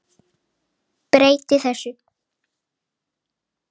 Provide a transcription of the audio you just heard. Breyti þessu.